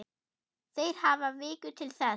Þeir hafi viku til þess.